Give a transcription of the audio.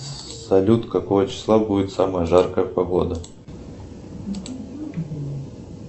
салют какого числа будет самая жаркая погода